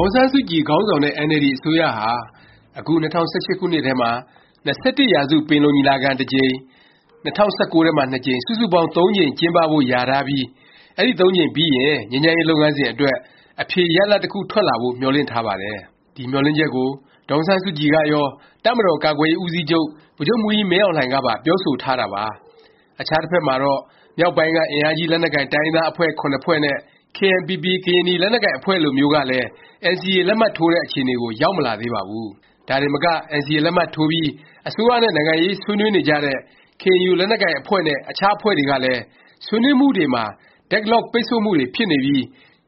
ာင်ဆန်းစုကြည် ခေါင်းဆောင်တဲ့ အင်န်အယ်လ်ဒီ အစိုးရဟာ အခု ၂၀၁၈ ခုနှစ်ထဲမှာ ၂၁ရာစု ပင်လုံညီလာခံ တစ်ကြိမ်၊ ၂၀၁၉ ထဲမှာ ကြိမ် စုစုပေါင်း ၃ ကြိမ်ကျင်းပဖို့ လျာထားပြီး အဲဒီ သုံးကြိမ်ပြီးရင် ငြိမ်းချမ်းရေး လုပ်ငန်းစဉ် အတွက် အဖြေရလာဒ် တစ်ခု ထွက်လာဖို့ မျှော်လင့်ထားပါတယ်။ ဒီမျှော်လင့်ချက်ကို ဒေါ်အောင်ဆန်းစုကြည်ကရော၊ တပ်မတော်ကာကွယ်ရေး ဦးစီးချုပ် ဗိုလ်ချုပ်မှူးကြီးမင်းအောင်လှိုင် ကပါ ပြောဆိုထားတာပါ။ အခြားတစ်ဖက်မှာတော့ မြောက်ပိုင်းက အင်အားကြီး လက်နက်ကိုင် တိုင်းရင်းသား အဖွဲ့ ဖွဲ့နဲ့ KNPP ကရင်နီ လက်နက်ကိုင်အဖွဲ့လိုမျိုးကလည်း NCA လက်မှတ်ထိုးတဲ့ အခြေအနေကို ရောက်မလာသေးပါဘူး။ ဒါတင်မက NCA လက်မှတ်ထိုးပြီး အစိုးရနဲ့ နိုင်ငံရေး ဆွေးနွေးနေကြတဲ့ KNU ကရင်လက်နက်ကိုင် အဖွဲ့နဲ့ အခြားအဖွဲ့တွေကလည်း ဆွေးနွေးမှုတွေမှာ Deadlock, ပိတ်ဆို့မှုတွေ ဖြစ်နေပြီး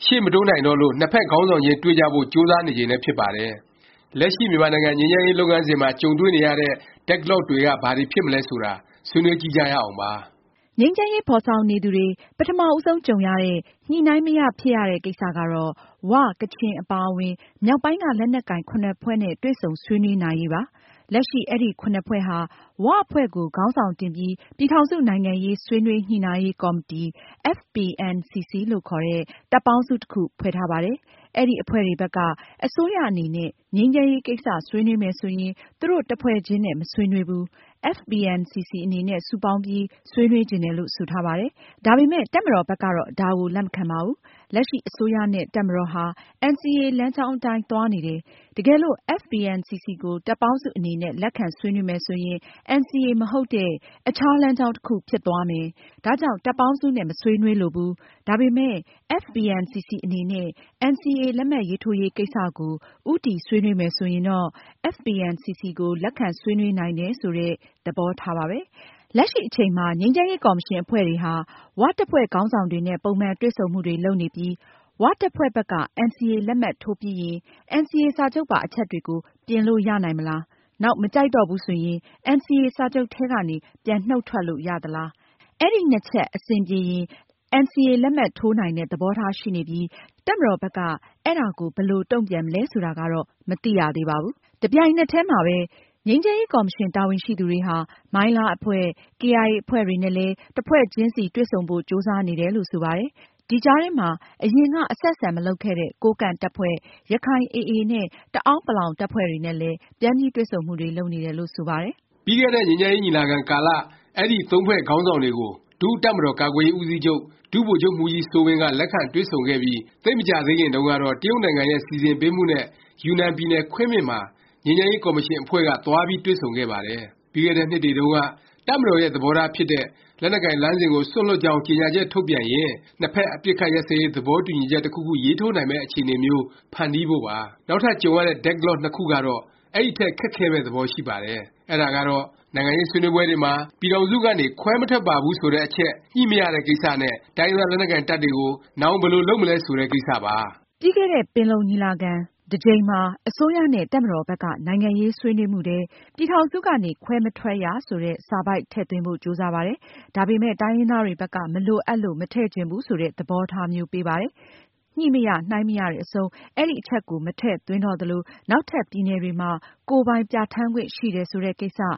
ရှေ့မတိုးနိုင်တော့လို့ နှစ်ဖက် ခေါင်းဆောင်တွေခြင်း တွေ့ကြဖို့ ကြိုးစားနေချိန်လည်း ဖြစ်ပါတယ်။ လက်ရှိ မြန်မာနိုင်ငံ ငြိမ်းချမ်းရေးလုပ်ငန်းစဉ်မှာ ကြုံတွေ့နေရတဲ့ Deadlock တွေက ဘာတွေ ဖြစ်မလဲ ဆိုတာ ဆွေးနွေးကြည့်ကြရအောင်ပါ။ ငြိမ်းချမ်းရေး ဖော်ဆောင်နေသူတွေ ပထမဦးဆုံးကြုံရတဲ့ Deadlock ကတော့ ဝ၊ ကချင် အပါအဝင် မြောက်ပိုင်းက လက်နက်ကိုင် ဖွဲ့နဲ့ တွေ့ဆုံဆွေးနွေးနိုင်ရေးပါ။ လက်ရှိ အဲဒီ ဖွဲ့ဟာ ၀ အဖွဲ့ကို ခေါင်းဆောင်တင်ပြီး ပြည်ထောင်စု နိုင်ငံရေး ဆွေးနွေး ညှိနှိုင်းရေးကော်မတီ FPNCC လို့ခေါ်တဲ့ တပ်ပေါင်းစု တစ်ခု ဖွဲ့ထားပါတယ်။ အဲဒီ အဖွဲ့တွေဘက်က အစိုးရအနေနဲ့ ငြိမ်းချမ်းရေး ကိစ္စ ဆွေးနွေးမယ် ဆိုရင် သူတို့ တစ်ဖွဲ့ချင်းနဲ့ မဆွေးနွေးဘူး၊ FPNCC အနေနဲ့ စုပေါင်းပြီး ဆွေးနွေးချင်တယ်လို့ ဆိုထားပါတယ်။ ဒါပေမယ့် တပ်မတော်ဘက်ကတော့ ဒါကို လက်မခံပါဘူး။ လက်ရှိ အစိုးရနဲ့ တပ်မတော်ဟာ NCA လမ်းကြောင်းအတိုင်း သွားနေတယ်၊ တကယ်လို့ FPNCC ကို တပ်ပေါင်းစု အနေနဲ့ လက်ခံ ဆွေးနွေးမယ် ဆိုရင် NCA မဟုတ်တဲ့ အခြား လမ်းကြောင်း တစ်ခု ဖြစ်သွားမယ်၊ ဒါကြောင့် တပ်ပေါင်းစုနဲ့ မဆွေးနွေးလိုဘူး၊ ဒါပေမယ့် FPNCC အနေနဲ့ NCA လက်မှတ်ထိုးရေးကိစ္စကို ဦးတည် ဆွေးနွေးမယ် ဆိုရင်တော့ FPNCC ကို လက်ခံဆွေးနွေးနိုင်တယ် ဆိုတဲ့ သဘောထားပါပဲ။ လက်ရှိအချိန်မှာ ငြိမ်းချမ်းရေး ကော်မရှင် အဖွဲ့တွေဟာ ၀ တပ်ဖွဲ့ခေါင်းဆောင်တွေနဲ့ ပုံမှန်တွေ့ဆုံမှုတွေ လုပ်နေပြီး ၀ တပ်ဖွဲ့ဘက်က NCA လက်မှတ်ထိုးပြီးရင် NCA စာချုပ်ပါ အချက်တွေကို ပြင်လို့ ရနိုင်မလား၊ နောက် မကြိုက်တော့ဘူး ဆိုရင် NCA စာချုပ်ထဲကနေ ပြန်နှုတ်ထွက်လို့ ရသလား၊ အဲဒီ ချက် အဆင်ပြေရင် NCA လက်မှတ်ထိုးနိုင်တဲ့ သဘောထား ရှိနေပြီး တပ်မတော်ဘက်က အဲဒါကို ဘယ်လို တုန့်ပြန်မလဲ ဆိုတာကတော့ မသိရသေးပါဘူး။ တစ်ပြိုင်နက်တည်းမှာ ငြိမ်းချမ်းရေး ကော်မရှင် တာဝန်ရှိသူတွေဟာ မိုင်းလား အဖွဲ့၊ ကေအိုင်အေ အဖွဲ့တွေနဲ့လည်း တစ်ဖွဲ့ချင်းစီ တွေ့ဆုံဖို့ ကြိုးစားနေတယ်လို့ ဆိုပါတယ်။ ဒီကြားထဲမှာ အရင်က အဆက်အဆံ မလုပ်ခဲ့တဲ့ ကိုးကန့်တပ်ဖွဲ့၊ ရခိုင် AA နဲ့ တအဲန်းပလောင် တပ်ဖွဲ့တွေနဲ့လည်း ပြန်ပြီး တွေ့ဆုံမှုတွေ လုပ်နေတယ်လို့ ဆိုပါတယ်။ ပြီးခဲ့တဲ့ ငြိမ်းချမ်းရေး ညီလာခံကာလ အဲဒီ သုံးဖွဲ့ ခေါင်းဆောင်တွေကို ဒုတပ်မတော်ကာကွယ်ရေးဦးစီးချုပ် ဒုဗိုလ်ချုပ်မှူးကြီးစိုးဝင်းက လက်ခံတွေ့ဆုံခဲ့ပြီး သိပ်မကြာသေးခင်တုန်းကတော့ တရုတ်နိုင်ငံရဲ့ စီစဉ်ပေးမှုနဲ့ ယူနန်ပြည်နယ် ခွင်းမင်မှာ ငြိမ်းချမ်းရေး ကော်မရှင်အဖွဲ့က သွားပြီး တွေ့ဆုံခဲ့ပါတယ်။ ပြီးခဲ့တဲ့နှစ်တွေတုန်းက တပ်မတော်ရဲ့ သဘောထားဖြစ်တဲ့ လက်နက်ကိုင် လမ်းစဉ်ကို စွန့်လွှတ်ကြောင်း ကြေငြာချက်ထုတ်ပြန်ရင် နှစ်ဖက် အပစ်အခတ် ရပ်စဲရေး သဘောတူညီချက် တစ်ခုခု ရေးထိုးနိုင်မယ့် အခြေအနေမျိုး ဖန်တီးဖို့ပါ။ နောက်ထပ် ကြုံရတဲ့ Deadlock နှစ်ခုကတော့ အဲဒီထက် ခက်ခဲမယ့် သဘောရှိပါတယ်။ အဲဒါကတော့ နိုင်ငံရေးဆွေးနွေးပွဲတွေမှာ ပြည်ထောင်စုကနေ ခွဲမထွက်ပါဘူး ဆိုတဲ့အချက် ညှိမရတဲ့ကိစ္စနဲ့ တိုင်းရင်းသား လက်နက်ကိုင်တပ်တွေကို နောင် ဘယ်လို လုပ်မလဲ ဆိုတဲ့ ကိစ္စပါ။ ပြီးခဲ့တဲ့ ပင်လုံညီလာခံ တစ်ကြိမ်မှာ အစိုးရနဲ့ တပ်မတော်ဘက်က နိုင်ငံရေးဆွေးနွေးမှုထဲ “ ပြည်ထောင်စုကနေ ခွဲမထွက်ရ” ဆိုတဲ့ စာပိုဒ်ထည့်သွင်းဖို့ ကြိုးစားပါတယ်။ ဒါပေမယ့် တိုင်းရင်းသားတွေဘက်က မလိုအပ်လို့ မထည့်ချင်ဘူး ဆိုတဲ့ သဘောထားမျိုးပေးပါတယ်။ ညှိမရ၊နှိုင်းမရတဲ့အဆုံး အဲဒီအချက်ကို မထည့်သွင်းတော့သလို၊ နောက်ထပ် ပြည်နယ်တွေမှာ ကိုယ်ပိုင်ပြဌာန်းခွင့် ရှိတယ် ဆိုတဲ့ကိစ္စ၊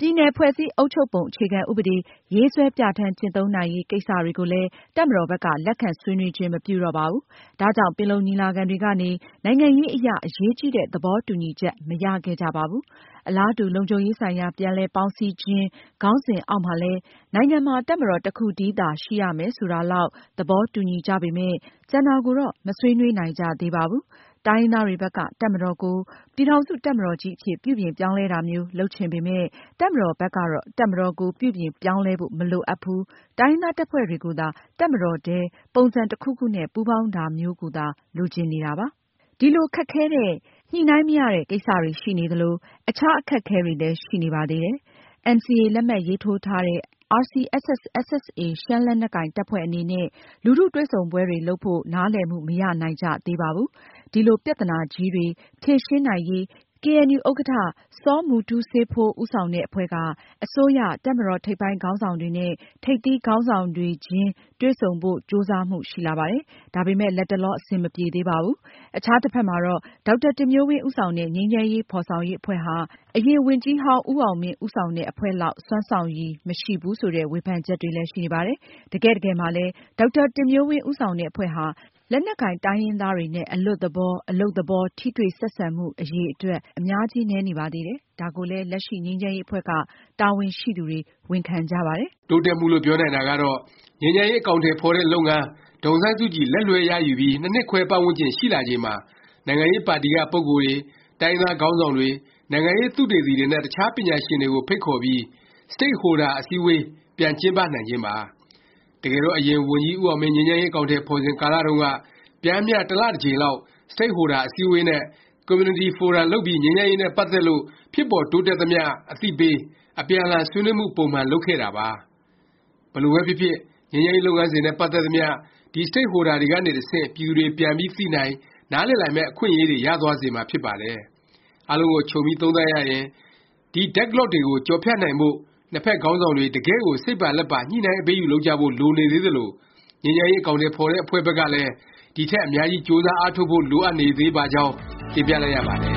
ပြည်နယ် ဖွဲ့စည်းအုပ်ချုပ်ပုံ အခြေခံ ဥပဒေ ရေးဆွဲပြဌာန်း ကျင့်သုံးနိုင်ရေး ကိစ္စတွေကိုလည်း တပ်မတော်ဘက်က လက်ခံဆွေးနွေးခြင်း မပြုတော့ပါဘူး။ ဒါကြောင့် ပင်လုံညီလာခံတွေကနေ နိုင်ငံရေးအရ အရေးကြီးတဲ့ သဘောတူညီချက် မရခဲ့ကြပါဘူး။ အလားတူ “လုံခြုံရေးဆိုင်ရာ ပြန်လည် ပေါင်းစည်းခြင်း” ခေါင်းစဉ်အောက်မှာလည်း နိုင်ငံမှာ တပ်မတော် တစ်ခုတည်းသာ ရှိရမယ် ဆိုတာလောက် သဘောတူညီကြပေမယ့် ကျန်တာကိုတော့ မဆွေးနွေးနိုင်ကြသေးပါဘူး။ တိုင်းရင်းသားတွေဘက်က တပ်မတော်ကို ပြည်ထောင်စု တပ်မတော်ကြီးအဖြစ် ပြုပြင်ပြောင်းလဲတာမျိုး လုပ်ချင်ပေမယ့်၊ တပ်မတော်ဘက်ကတော့ တပ်မတော်ကို ပြုပြင်ပြောင်းလဲဖို့ မလိုအပ်ဘူး၊ တိုင်းရင်းသား တပ်ဖွဲ့တွေကိုသာ တပ်မတော်ထဲ ပုံစံတစ်ခုခုနဲ့ ပူးပေါင်းတာမျိုးကိုသာ လိုချင်နေတာပါ။ ဒီလို ခက်ခဲတဲ့ Deadlock တွေရှိနေသလို အခြား အခက်အခဲတွေလည်း ရှိနေပါသေးတယ်။ NCA လက်မှတ်ရေးထိုးထားတဲ့ RCSS/SSA ရှမ်းလက်နက်ကိုင်တပ်ဖွဲ့ အနေနဲ့ လူထုတွေ့ဆုံပွဲတွေ လုပ်ဖို့ နားလည်မှု မရနိုင်ကြသေးပါဘူး။ ဒီလို ပြသနာကြီးတွေ ဖြေရှင်းနိုင်ရေး ကေအဲန်ယူ ဥက္ကဌ စောမူတူးစေးဖိုး ဦးဆောင်တဲ့ အဖွဲ့က အစိုးရ၊ တပ်မတော် ထိပ်ပိုင်းခေါင်းဆောင်တွေနဲ့ ထိပ်သီးခေါင်းဆောင်တွေချင်း တွေ့ဆုံဖို့ ကြိုးစားမှု ရှိလာပါတယ်။ ဒါပေမယ့် လတ်တလော အဆင်မပြေသေးပါဘူး။ အခြားတစ်ဖက်မှာတော့ ဒေါက်တာတင်မျိုးဝင်း ဦးဆောင်တဲ့ ငြိမ်းချမ်းရေး ဖော်ဆောင်ရေး အဖွဲ့ဟာ အရင် ဝန်ကြီးဟောင်းဦးအောင်မင်း ဦးဆောင်တဲ့ အဖွဲ့လောက် စွမ်းဆောင်ရည် မရှိဘူး ဆိုတဲ့ ဝေဖန်ချက်တွေလည်း ရှိနေပါတယ်။ တကယ့်တကယ်မှာလည်း ဒေါက်တာတင်မျိုးဝင်း ဦးဆောင်တဲ့ အဖွဲ့ဟာ လက်နက်ကိုင် တိုင်းရင်းသားတွေနဲ့ အလွတ်သလော၊ အလုပ်သဘော ထိတွေ့၊ ဆက်ဆံမှု အရည်အတွက် အများကြီးနည်းနေပါတယ်။ ဒါကိုလည်း လက်ရှိ ငြိမ်းချမ်းရေး အဖွဲ့က တာဝန်ရှိသူတွေ ဝန်ခံကြပါတယ်။ တိုးတက်မှုလို့ ပြောနိုင်တာကတော့ ငြိမ်းချမ်းရေး အကောင်အထည်ဖော်တဲ့ လုပ်ငန်း၊ ဒေါ်အောင်ဆန်းစုကြည် လက်လွဲှရယူပြီး ၂နှစ်ခွဲ ပတ်ဝန်းကျင် ရှိလာချိန်မှာ နိုင်ငံရေးပါတီက ပုဂ္ဂိုလ်တွေ၊ တိုင်းရင်းသားခေါင်းဆောင်တွေ၊ နိုင်ငံရေးသုတေသီတွေနဲ့ အခြားပညာရှင်တွေကို ဖိတ်ခေါ်ပြီး Stakeholder အစည်းအဝေး ပြန်ကျင်းပနိုင်ခြင်းပါ။ တကယ်တော့ အရင် ဝန်ကြီးဦးအောင်မင်း ငြိမ်းချမ်းရေး အကောင်အထည် ဖော်စဉ်ကာလတုန်းက ပျမ်းမျှ တစ်လ တစ်ကြိမ်လောက် Stakeholder အစည်းအဝေးနဲ့ ကွန်မြူနတီဖိုရမ် လုပ်ပြီး ငြိမ်းချမ်းရေးနဲ့ ပတ်သက်လို့ ဖြစ်ပေါ်တိုးတက်သမျှ အသိပေး၊ အပြန်အလှန် ဆွေးနွေးမှု ပုံမှန် လုပ်ခဲ့တာပါ။ ဘယ်လိုပဲဖြစ်ဖြစ် ငြိမ်းချမ်းရေး လုပ်ငန်းစဉ်နဲ့ ပတ်သက်သမျှ ဒီ Stakeholder တွေကနေ တဆင့် ပြည်သူတွေ ပြန်ပြီးသိနိုင်၊ နားလည်နိုင်မယ့် အခွင့်အရေး ရသွားစေမှာဖြစ်ပါတယ်။ အားလုံးကို ခြုံပြီး သုံးသပ်ရရင် ဒီ Deadlock တွေကို ကျော်ဖြတ်နိုင်ဖို့၊ နှစ်ဖက် ခေါင်းဆောင်တွေ တကယ့်ကို စိတ်ပါလက်ပါ ညှိနှိုင်း အပေးအယူ လုပ်ကြဖို့ လိုနေသေးသလို၊ ငြိမ်းချမ်းရေး အကောင်အထည် ဖော်တဲ့အဖွဲ့ဘက်ကလည်း ဒီထက် အများကြီး ကြိုးစား အားထုတ်ဖို့ လိုအပ်နေပါသေးကြောင်း တင်ပြလိုက်ရပါတယ်